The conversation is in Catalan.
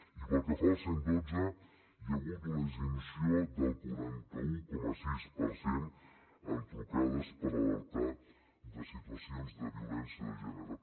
i pel que fa al cent i dotze hi ha hagut una disminució del quaranta un coma sis per cent en trucades per alertar de situacions de violència de gènere